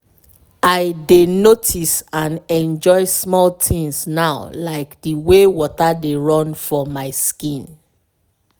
i dey notice and enjoy small things now like the way water dey run for my skin.